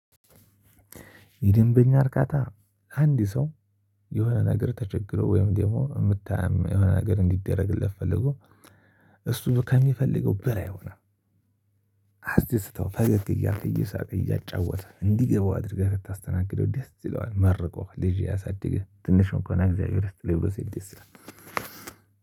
የደንበኛ አርካታ አንድ ሰው የሆነ ነገር ተቸግሮ ወይም ደግሞ የምታየው የሆነ ነገር እንዲደረግለት ፈልጎ። እሱ ከሚፈልገው በላይ ሆነህ። አስደስተው ፈገግ እያልክ እየሳቅክ እያጫወትህ እንደሚገባው አድርገህ ስታስተናግደው ደስ ይለዋል። መርቆ ልጄ ያሳድግህ ትንሽ እንኳን ቢሆን እግዚአብሔር ይስጥልኝ ብሎ ሲሄድ ደስ ይላል።